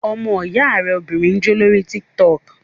Ọmọ ìyá rẹ obìnrin ń jó lórí tík-tọkù